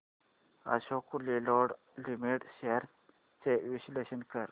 Ashok Leyland limited shares चे विश्लेषण कर